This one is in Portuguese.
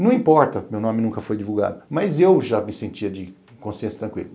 Não importa, meu nome nunca foi divulgado, mas eu já me sentia de consciência tranquila.